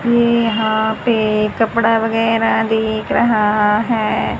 ये यहां पे कपड़ा वगैरह देख रहा है।